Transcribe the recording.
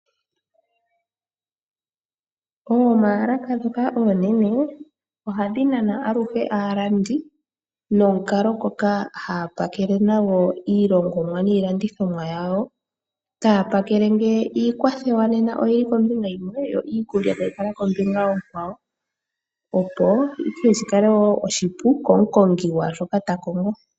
Oomalaka dhoka onene ohadhi nana aluhe aalandi nonkalo ngoka haya pakele nago iilongomwa niilandithomwa yawo, taya pakele nge iikwathowa oyili kombinga yimwe yo iikulya tayi kala kombinga okwawo, opo ihe shikale wo oshipu komu kongi kwa shoka ta kongo.